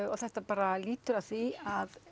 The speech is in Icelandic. og þetta bara lýtur að því að